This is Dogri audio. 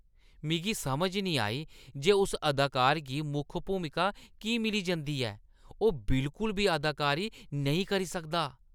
मिगी समझ नेईं आई जे उस अदाकार गी मुक्ख भूमिका की मिली जंदी ऐ। ओह् बिलकुल बी अदाकारी नेईं करी सकदा ।